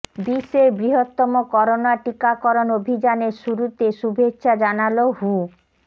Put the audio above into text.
বিশ্বের বৃহত্তম করোনা টিকাকরণ অভিযানের শুরুতে শুভেচ্ছা জানাল হু